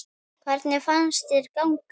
Hvernig fannst þér ganga?